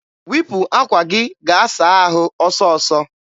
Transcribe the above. wipu akwa gị gaa saa ahụ ọsọ ọsọ!